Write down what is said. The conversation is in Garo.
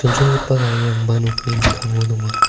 chonchongipa garirangba nokni mikkango donga.